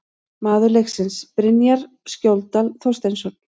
Maður leiksins: Brynjar Skjóldal Þorsteinsson